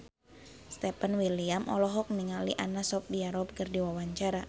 Stefan William olohok ningali Anna Sophia Robb keur diwawancara